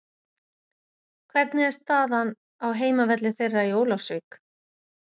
Hvernig er staðan á heimavelli þeirra í Ólafsvík?